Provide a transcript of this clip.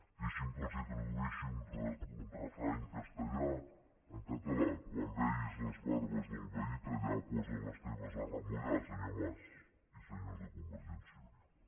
deixin me que els tradueixi un refrany castellà en català quan vegis les barbes del veí tallar posa les teves a remullar senyor mas i senyors de convergència i unió